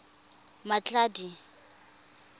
mmatladi